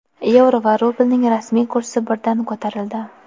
yevro va rublning rasmiy kursi birdan ko‘tarildi.